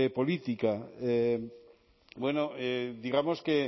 política bueno digamos que